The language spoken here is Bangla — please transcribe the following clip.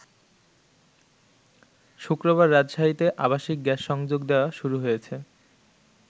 শুক্রবার রাজশাহীতে আবাসিক গ্যাস সংযোগ দেয়া শুরু হয়েছে।